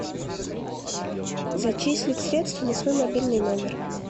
зачислить средства на свой мобильный номер